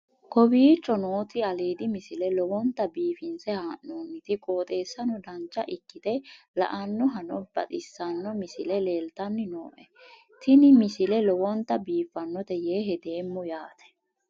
kowicho nooti aliidi misile lowonta biifinse haa'noonniti qooxeessano dancha ikkite la'annohano baxissanno misile leeltanni nooe ini misile lowonta biifffinnote yee hedeemmo yaate